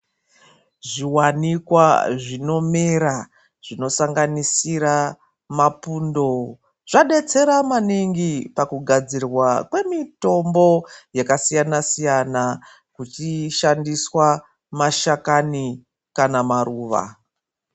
Zvi wanikwa zvino mera zvino sanganisira ma pundo zva detsera maningi paku gadzirwa kwe mitombo yaka siyana siyana zvichi shandiswa mashakani kana maruva.